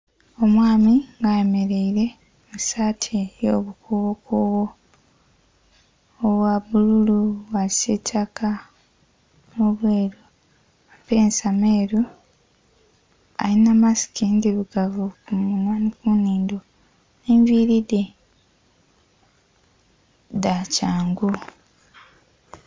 Omwaami nga ayemereire mu saati eyo bukubo kubo obwa bbululu, obwa kisitaka nho bweru, amapensa meru alinha masiki ndhirugavu ku munhwa nhi ku nhindho. Enviri dhe dha kyangu.